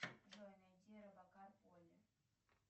джой найди робокар полли